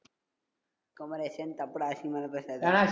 குமரேசன், தப்புடா அசிங்கமால பேசாத.